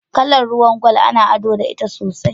Kala ruwan gwal ana ado da ita sosai.